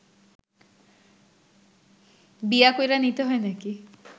বিয়া কইরা নিতে হয় নাকি